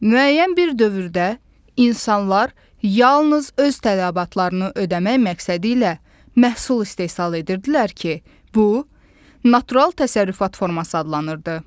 Müəyyən bir dövrdə insanlar yalnız öz tələbatlarını ödəmək məqsədi ilə məhsul istehsal edirdilər ki, bu, natural təsərrüfat forması adlanırdı.